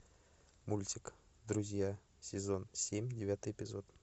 мультик друзья сезон семь девятый эпизод